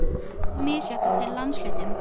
Þetta er þó misjafnt eftir landshlutum.